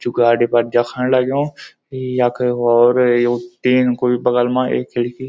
जू गाड़ी पर देखण लग्युं यख और यु टीन कु बगल मा एक खिड़की।